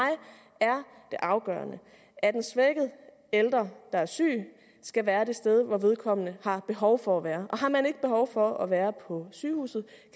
er det afgørende at en svækket ældre der er syg skal være det sted hvor vedkommende har behov for at være og har man ikke behov for at være på sygehuset